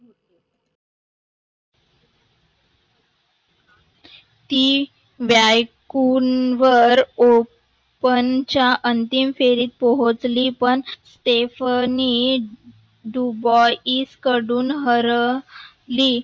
तीव्यायकून वर open च्या अंतिम फेरीत पोहचली व वेफणी Dubai स कडून हरली.